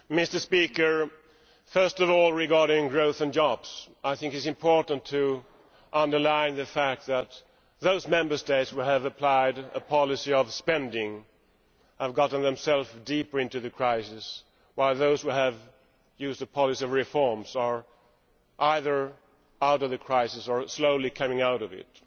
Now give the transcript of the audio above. Mr President, first of all regarding growth and jobs I think it is important to underline the fact that those Member States who have applied a policy of spending have got themselves deeper into the crisis while those who have used a policy of reforms are either out of the crisis or slowly coming out of it.